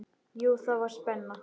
Jú, það var spenna.